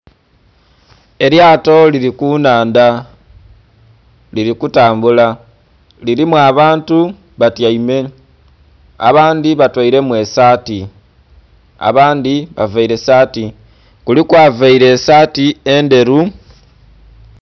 Elyato lili ku nhandha lili kutambula kilimu abantu batyaime, abandhi batoiremu esaati, abandhi bavaire saati kuliku avaire esaati endheru.